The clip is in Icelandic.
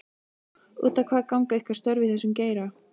Út á hvað ganga ykkar störf í þessum geira?